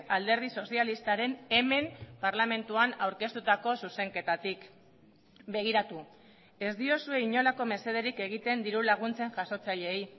alderdi sozialistaren hemen parlamentuan aurkeztutako zuzenketatik begiratu ez diozue inolako mesederik egiten dirulaguntzen jasotzaileei